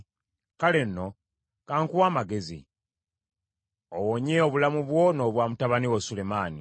Kale nno kankuwe amagezi, owonye obulamu bwo n’obwa mutabani wo Sulemaani.